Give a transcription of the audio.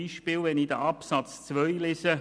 Beispielsweise Artikel 184 b Absatz 2 (neu):